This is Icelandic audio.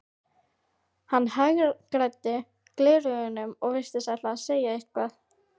Hann hagræddi gleraugunum og virtist ætla að segja eitthvað.